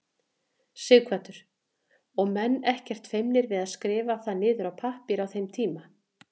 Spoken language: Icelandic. Sighvatur: Og menn ekkert feimnir við að skrifa það niður á pappír á þeim tíma?